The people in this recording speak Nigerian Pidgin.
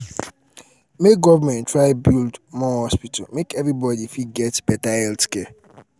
make government try build um more hospital make everybody fit um get beta healthcare